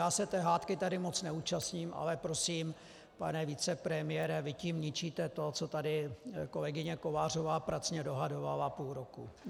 Já se té hádky tady moc neúčastním, ale prosím, pane vicepremiére, vy tím ničíte to, co tady kolegyně Kovářová pracně dohadovala půl roku.